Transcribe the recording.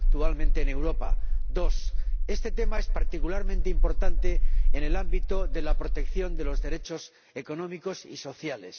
En segundo lugar, este tema es particularmente importante en el ámbito de la protección de los derechos económicos y sociales.